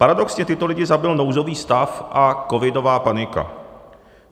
Paradoxně tyto lidi zabil nouzový stav a covidová panika.